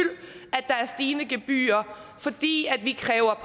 at der er stigende gebyrer fordi vi kræver